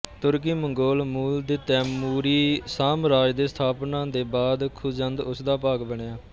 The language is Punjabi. ਤੁਰਕੀਮੰਗੋਲ ਮੂਲ ਦੇ ਤੈਮੂਰੀ ਸਾਮਰਾਜ ਦੀ ਸਥਾਪਨਾ ਦੇ ਬਾਅਦ ਖ਼ੁਜੰਦ ਉਸਦਾ ਭਾਗ ਬਣਿਆ